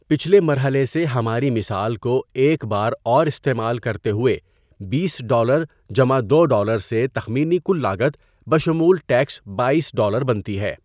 پچھلے مرحلے سے ہماری مثال کو ایک بار اور استعمال کرتے ہوئے، بیس ڈالر جمع دو ڈالر سے تخمینی کل لاگت بشمول ٹیکس باٮٔیس ڈالر بنتی ہے.